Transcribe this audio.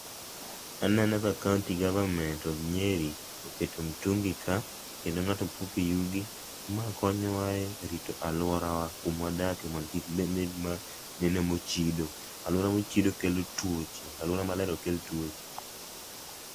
Aneno ka kaunti government of Nyeri oketo mtungi ka kendo ngato puke yugi. Ma konyowa e rito aluora wa kuma wadake mondo kik nen ma, neno mochido. Aluora mochido kelo tuoche, aluora maler ok kel tuoche